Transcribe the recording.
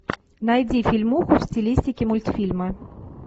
найди фильмуху в стилистике мультфильма